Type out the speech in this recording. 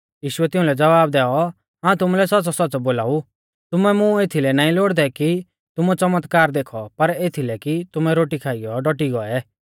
यीशुऐ तिउंलै ज़वाब दैऔ हाऊं तुमुलै सौच़्च़ौसौच़्च़ौ बोलाऊ तुमै मुं एथलै नाईं लोड़दै कि तुमुऐ च़मतकार देखौ पर एथलै कि तुमै रोटी खाइयौ डौटी गौऐ